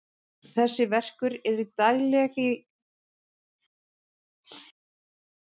Þessi verkur er í dagleg tali kallaður hlaupastingur.